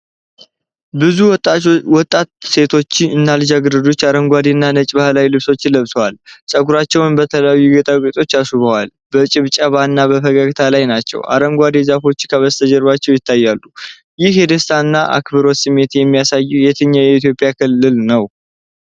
ብዙ ወጣት ሴቶች እና ልጃገረዶች አረንጓዴ እና ነጭ ባህላዊ ልብሶችን ለብሰዋል። ፀጉራቸውን በተለያዩ ጌጣጌጦች አስውበው በጭብጨባ እና በፈገግታ ላይ ናቸው። አረንጓዴ ዛፎች ከበስተጀርባ ይታያሉ። ይህ የደስታ እና አብሮነት ስሜት የሚያሳየው የትኛው የኢትዮጵያ ክልልን ነው?